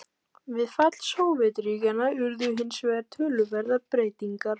Við fall Sovétríkjanna urðu hins vegar töluverðar breytingar.